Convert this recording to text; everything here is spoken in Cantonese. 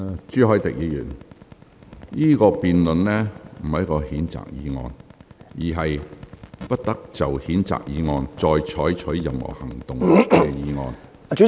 朱凱廸議員，現在辯論的不是譴責議案，而是"不得就譴責議案再採取任何行動"的議案。